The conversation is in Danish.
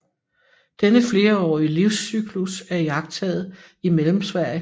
Denne flerårige livscyklus er iagttaget i Mellemsverige